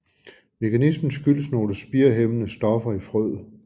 Mekanismen skyldes nogle spirehæmmende stoffer i frøet